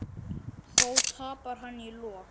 Þó tapar hann í lokin.